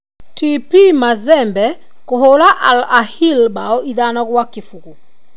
TP Mazembe kũhũra Al Ahili bao 5-0.